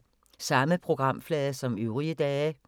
Samme programflade som øvrige dage